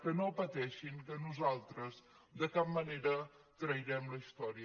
que no pateixin que nosaltres de cap manera trairem la història